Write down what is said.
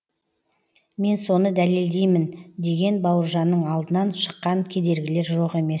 мен соны дәлелдеймін деген бауыржанның алдынан шыққан кедергілер жоқ емес